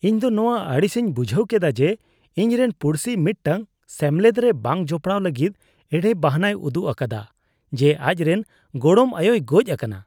ᱤᱧᱫᱚ ᱱᱚᱣᱟ ᱟᱹᱲᱤᱥ ᱤᱧ ᱵᱩᱡᱷᱟᱹᱣ ᱠᱮᱫᱟ ᱡᱮ ᱤᱧᱨᱮᱱ ᱯᱩᱲᱥᱤ ᱢᱤᱫᱴᱟᱝ ᱥᱮᱢᱞᱮᱫ ᱨᱮ ᱵᱟᱝ ᱡᱚᱯᱚᱲᱟᱣ ᱞᱟᱹᱜᱤᱫ ᱮᱲᱮ ᱵᱟᱦᱟᱱᱟᱭ ᱩᱫᱩᱜ ᱟᱠᱟᱫᱟ ᱡᱮ ᱟᱡᱨᱮᱱ ᱜᱚᱲᱚᱢ ᱟᱭᱳᱭ ᱜᱚᱡ ᱟᱠᱟᱱᱟ ᱾